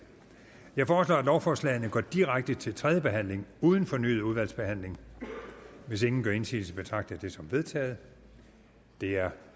jeg foreslår at lovforslagene går direkte til tredje behandling uden fornyet udvalgsbehandling hvis ingen gør indsigelse betragter jeg det som vedtaget det er